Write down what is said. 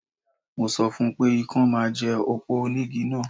Mo sọ fún pé ikán máa jẹ òpó onígi náà